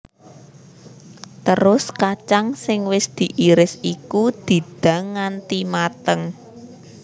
Terus kacang sing wis diiris iku didang nganti mateng